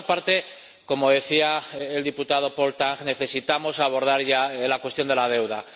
Y, por otra parte, como decía el diputado Paul Tang, necesitamos abordar ya la cuestión de la deuda.